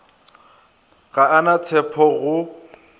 ga a na tshepo go